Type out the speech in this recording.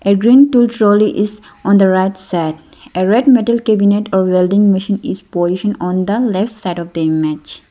a green two trolley is on the right side a red metal cabinet of welding machine is position on the left side of the image.